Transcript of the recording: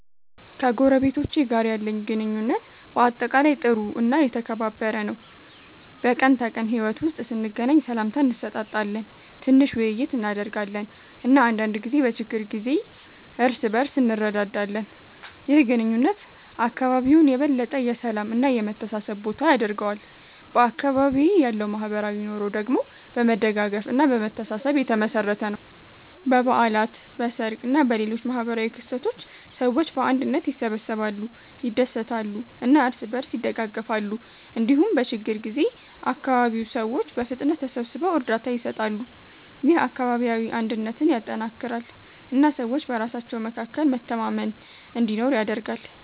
ከጎረቤቶቼ ጋር ያለኝ ግንኙነት በአጠቃላይ ጥሩ እና የተከባበረ ነው። በቀን ተቀን ሕይወት ውስጥ ስንገናኝ ሰላምታ እንሰጣጣለን፣ ትንሽ ውይይት እናደርጋለን እና አንዳንድ ጊዜ በችግር ጊዜ እርስ በእርስ እንረዳዳለን። ይህ ግንኙነት አካባቢውን የበለጠ የሰላም እና የመተሳሰብ ቦታ ያደርገዋል። በአካባቢዬ ያለው ማህበራዊ ኑሮ ደግሞ በመደጋገፍ እና በመተሳሰብ የተመሠረተ ነው። በበዓላት፣ በሰርግ እና በሌሎች ማህበራዊ ክስተቶች ሰዎች በአንድነት ይሰበሰባሉ፣ ይደሰታሉ እና እርስ በእርስ ይደጋገፋሉ። እንዲሁም በችግኝ ጊዜ አካባቢው ሰዎች በፍጥነት ተሰብስበው እርዳታ ይሰጣሉ። ይህ አካባቢያዊ አንድነትን ያጠናክራል እና ሰዎች በራሳቸው መካከል መተማመን እንዲኖር ያደርጋል።